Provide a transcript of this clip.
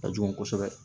Ka jugu kosɛbɛ